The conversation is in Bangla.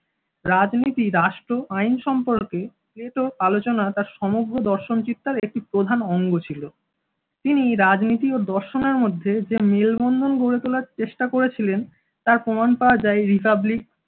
রাজনীতি রাষ্ট্র আইন সম্পর্কে প্লেটো আলোচনা তার সমগ্র দর্শন চিত্রের একটি প্রধান অঙ্গ ছিল, তিনি রাজনীতি ও দর্শনের মধ্যে যে মেলবন্ধন গড়ে তোলার চেষ্টা করেছিলেন। তার প্রমাণ পাওয়া যায় republic